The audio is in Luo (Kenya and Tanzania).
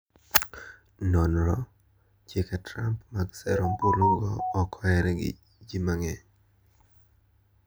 Nonro: Chike Trump mag sero ombulu go ok oher gi ji mang`eny.